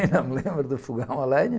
Ainda me lembro do fogão à lenha.